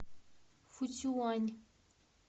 фуцюань